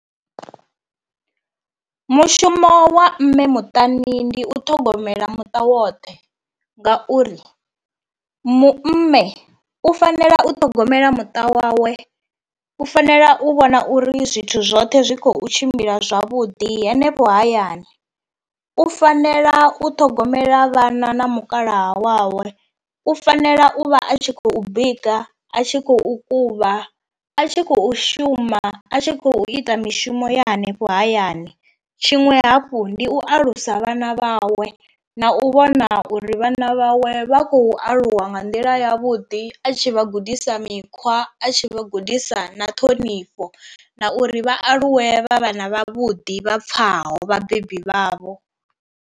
Mushumo wa mme muṱani ndi u ṱhogomela muṱa woṱhe, ngauri mu mme u fanela u ṱhogomela muṱa wawe, u fanela u vhona uri zwithu zwoṱhe zwi khou tshimbila zwavhuḓi hanefho hayani, u fanela u ṱhogomela vhana na mukalaha wawe, u fanela u vha a tshi khou bika, a tshi khou kuvha, a tshi khou shuma a tshi khou ita mishumo ya henefho hayani. Tshiṅwe hafhu ndi u alusa vhana vhawe na u vhona uri vhana vhawe vha khou aluwa wa nga nḓila yavhuḓi a tshi vha gudisa mikhwa a tshi vha gudisa na ṱhonifho, na uri vha aluwe vha vhana vhavhuḓi vha pfhaho vhabebi vhavho.